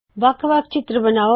ਵੱਖ ਵੱਖ ਚਿੱਤਰ ਬਨਾਓ